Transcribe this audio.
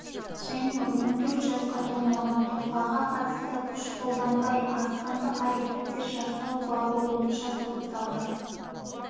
және он төрт жасқа толмаған тұлғаға қатысты күш қолданбай азғындық әрекеттер жасау бабы бойынша соталды